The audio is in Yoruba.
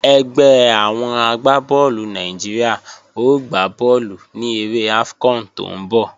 Ẹgbẹ́ àwọn agbá bọ́ọ̀lù Nàìjíríà ó gbá bọ́ọ̀lù ní eré AFCON tó ń bọ̀